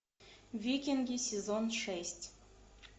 викинги сезон шесть